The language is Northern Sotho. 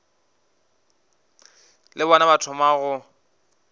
le bona ba thoma go